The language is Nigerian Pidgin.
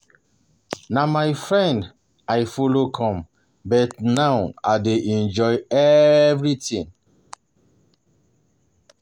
Na my friend um I follow come but now um I dey enjoy everything